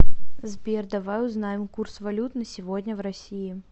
сбер давай узнаем курс валют на сегодня в россии